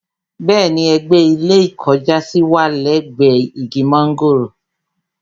Bẹ́ẹ̀ni, ẹ̀gbẹ́ ilé ìkọjásí wà lẹ́gbẹ̀ẹ́ igi mọ́ńgòrò